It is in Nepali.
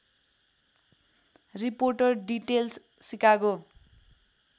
reporter details Chicago